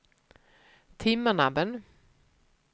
Timmernabben